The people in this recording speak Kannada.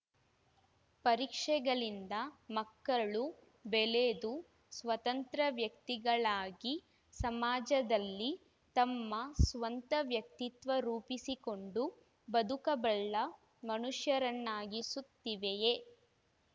ಪರೀಕ್ಷೆಗಳಿಂದ ಮಕ್ಕಳು ಬೆಳೆದು ಸ್ವತಂತ್ರ ವ್ಯಕ್ತಿಗಳಾಗಿ ಸಮಾಜದಲ್ಲಿ ತಮ್ಮ ಸ್ವಂತ ವ್ಯಕ್ತಿತ್ವ ರೂಪಿಸಿಕೊಂಡು ಬದುಕಬಲ್ಲ ಮನುಷ್ಯರನ್ನಾಗಿಸುತ್ತಿವೆಯೇ